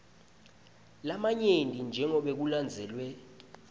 lamanyenti jengobe kulandzelwe